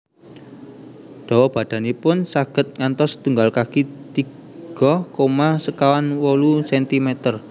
Dawa badanipun saged ngantos setunggal kaki tiga koma sekawan wolu sentimeter